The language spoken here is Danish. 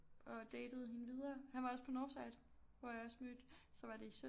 Og datede hende videre han var også på Northside hvor jeg også mødte så var det i 17